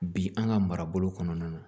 Bi an ka marabolo kɔnɔna na